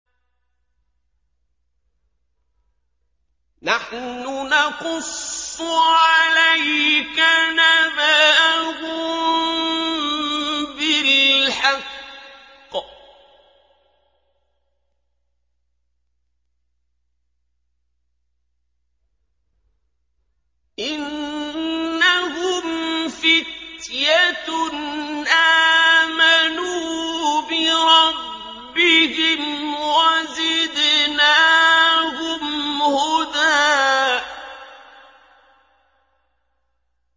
نَّحْنُ نَقُصُّ عَلَيْكَ نَبَأَهُم بِالْحَقِّ ۚ إِنَّهُمْ فِتْيَةٌ آمَنُوا بِرَبِّهِمْ وَزِدْنَاهُمْ هُدًى